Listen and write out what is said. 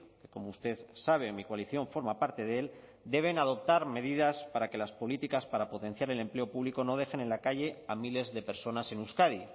que como usted sabe mi coalición forma parte de él deben adoptar medidas para que las políticas para potenciar el empleo público no dejen en la calle a miles de personas en euskadi